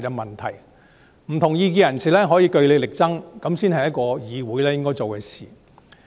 不同意見的人士可以據理力爭，這才是一個議會應該做的事。